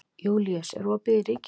Júlíus, er opið í Ríkinu?